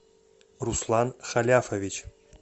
руслан халяфович